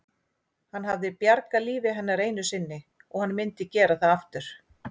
Hann hafði bjargað lífi hennar einu sinni og hann myndi gera það aftur.